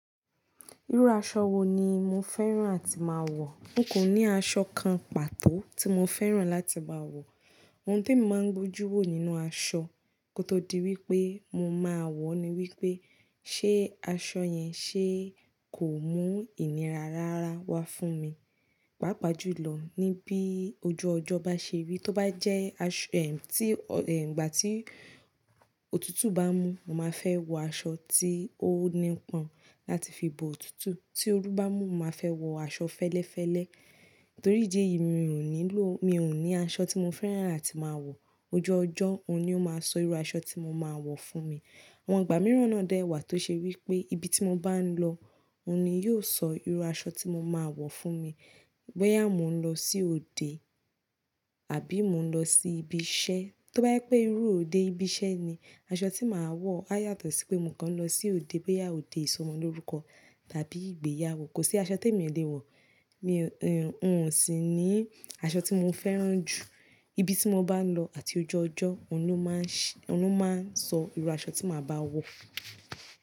Irú aṣọ wo ni mo fẹ́ràn àti máa wọ̀? N kò ní aṣọ kan pàtó tí mo fẹ́ràn láti máa wọ̀. Ohun ti emi máa ń gbójú wò nínú aṣọ kó tó di wípé mo máa wọ̀ ni wípé ṣé aṣọ yẹn ṣe kò mú ìnira rara wá fún mi. Pàápàá jùlọ níbí ojú ọjọ́ bá ṣe rí, tó bá jẹ́ aṣ-- ẹ sì, ẹ̀, ìgbà tí òtútù bá mú, mo má fẹ́ wọ aṣọ tí ó nípọn láti fi bo òtútù. Tí oru bá mú, mo má fẹ́ wọ aṣọ fẹ́lẹ́fẹ́lẹ́. Nítorí ìdí yìí mi ò nílò, mi ò ní aṣọ tí mo fẹ́ràn àti máa wọ̀. Ojú ọjọ́ òun ni ó máa sọ irú aṣọ tí mo máa wọ̀ fún mi. Àwọn ìgbà mìíràn náà dá ẹwà tó ṣe wípé ibi tí mo bá ń lọ òun ni yóò sọ irú aṣọ tí mo máa wọ̀ fún mi. Bóyá mò ń lọ sí òde àbí mò ń lọ sí ibi iṣẹ́, tó bá jẹ́ pé irú òde ibi iṣẹ́ ni, aṣọ tí màá wọ̀ á yàtọ̀ sí pé mò ń kán lọ sí òde, bóyá òde ìsọmọlórúkọ tàbí ìgbéyàwó. Kò sí aṣọ tí èmi o lè wọ̀, mi, ẹ, n ò sì ní aṣọ tí mo fẹ́ràn jù. Ibi tí mo bá ń lọ àti ojú ọjọ́ òun ni ó máa ń ṣ-- òun ni ó máa ń sọ irú aṣọ tí màá bá wọ̀.